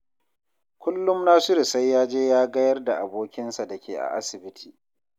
Kullum Nasiru sai ya je ya gayar da abokinsa da ke a asibiti